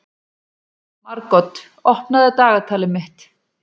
Margot, opnaðu dagatalið mitt.